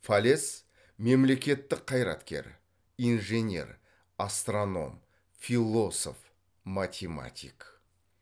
фалес мемлекеттік қайраткер инженер астроном философ математик